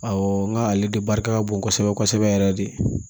Awɔ nga ale de barika ka bon kosɛbɛ kosɛbɛ yɛrɛ de